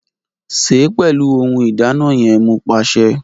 Ṣe pẹlu ohun ìdáná yẹn Mo paṣẹ!